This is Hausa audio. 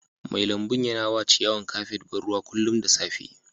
Mai lambun ya na wa ciyawan kafet ban ruwa kullum da safe.